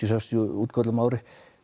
sextíu útköllum á ári